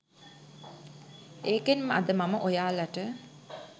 ඒකෙන් අද මම ඔයාලට